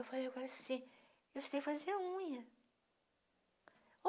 Eu falei assim, eu sei fazer unha.